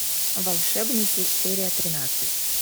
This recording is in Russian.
волшебники серия тринадцать